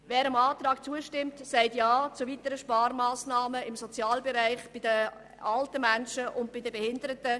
Wer diesem Antrag zustimmt, sagt Ja zu weiteren Sparmassnahmen im Sozialbereich, bei den alten und den behinderten Menschen.